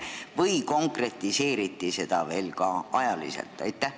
Kas seda konkretiseeriti ka ajaliselt?